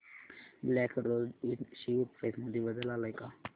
black Rose Ind share price मध्ये बदल आलाय का